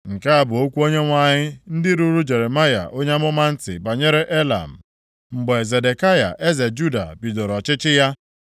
Nke a bụ okwu Onyenwe anyị ndị ruru Jeremaya onye amụma ntị banyere Elam, mgbe Zedekaya eze Juda bidoro ọchịchị ya.